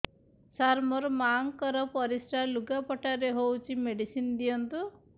ସାର ମୋର ମାଆଙ୍କର ପରିସ୍ରା ଲୁଗାପଟା ରେ ହଉଚି ମେଡିସିନ ଦିଅନ୍ତୁ